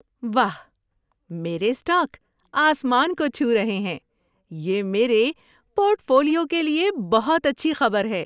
واہ، میرے اسٹاک آسمان کو چھو رہے ہیں! یہ میرے پورٹ فولیو کے لیے بہت اچھی خبر ہے۔